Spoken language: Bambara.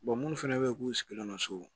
minnu fana bɛ yen k'u sigilen don so